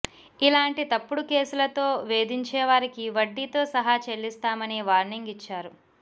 ఇలాంటి తప్పుడు కేసులతో వేధించేవారికి వడ్డీతో సహా చెల్లిస్తామని వార్నింగ్ ఇచ్చారు